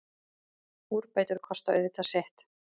Úrbætur kosta auðvitað sitt.